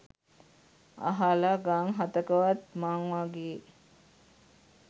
අහල ගං හතකවත් මං වගේ